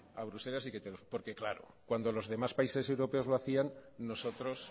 a bruselas y que te lo porque claro cuando los demás países europeos lo hacían nosotros